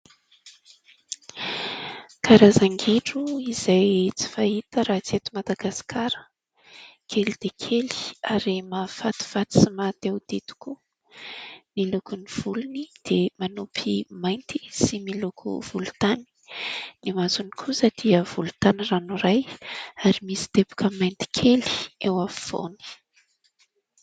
Karazan-gidro izay tsy fahita raha tsy eto Madagasikara, kely dia kely ary mahafatifaty sy maha-te ho tia tokoa. Ny lokon'ny volony dia manopy mainty sy miloko volontany, ny masony kosa dia volontany ranoray ary misy teboka mainty kely eo afovoany.